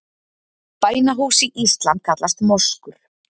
Bænahús í íslam kallast moskur.